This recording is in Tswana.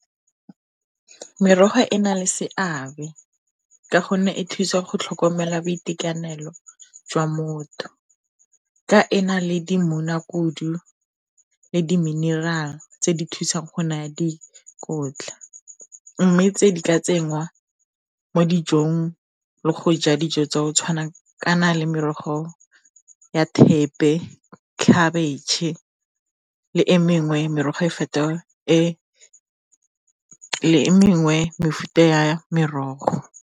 Merogo e na le seabe ka gonne e thusa go tlhokomela boitekanelo jwa motho, ka ena le le diminirale tse di thusang go na ya dikotla. Mme tse di ka tsenngwa mo dijong le go ja dijo tsa go tshwana le merogo ya thepe, khabetšhe le e mengwe mefuta ya merogo.